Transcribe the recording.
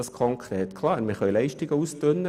Klar können wir Leistungen ausdünnen.